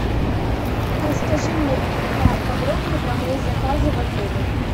расскажи мне поподробнее про мои заказы в отеле